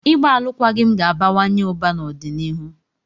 Ịgba alụkwaghịm ga-abawanye ụba n'ọdịnihu.